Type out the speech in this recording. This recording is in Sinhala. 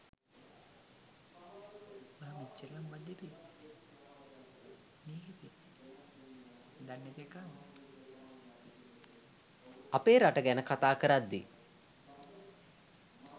අපේ රට ගැන කථා කරද්දි.